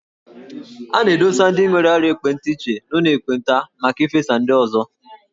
A na-adụsa ndị nwere ọrịa ekpenta iche n'ụlọ ekpenta maka ifesa ndị ọzọ.